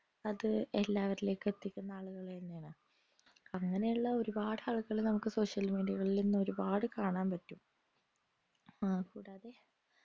അത് എല്ലാവരിലേക് എത്തിക്കുന്ന ആളുകളെന്നെയാണ് അങ്ങനെയുള്ള ഒരുപാട് social media കളിൽ നിന്ന് ഒരുപാട് കാണാൻ പറ്റും ആഹ് കൂടാതെ